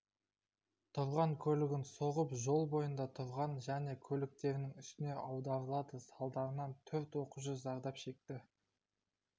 тұрған көлігін соғып жол бойында тұрған және көліктерінің үстіне аударылады салдарынан төрт оқушы зардап шекті